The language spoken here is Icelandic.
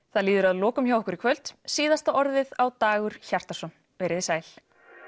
það líður að lokum hjá okkur í kvöld síðasta orðið á Dagur Hjartarson veriði sæl